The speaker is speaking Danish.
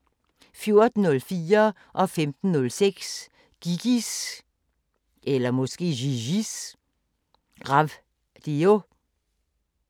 14:04: Gigis Ravdio 15:06: Gigis Ravdio